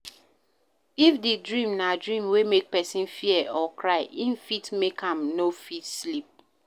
If di dream na dream wey make person fear or cry e fit make am no fit sleep